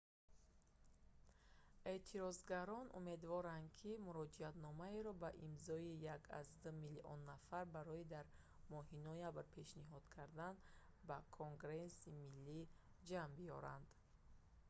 эътирозгарон умедворанд ки муроҷиатномаеро бо имзои 1,2 миллион нафар барои дар моҳи ноябр пешниҳод кардан ба конгресси миллӣ ҷамъ биёранд